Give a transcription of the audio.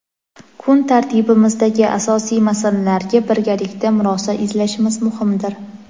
kun tartibimizdagi asosiy masalalarga birgalikda murosa izlashimiz muhimdir.